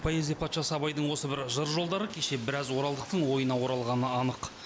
поэзия патшасы абайдың осы бір жыр жолдары кеше біраз оралдықтың ойына оралғаны анық